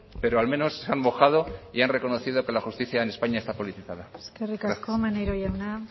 pero al menos se han mojado y han reconocido que la justicia en españa está politizada gracias eskerrik asko maneiro jauna